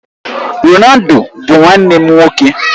Ronaldo bụ nwanne m nwoke.